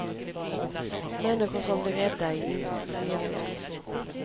Människor som blir rädda är inte trevliga.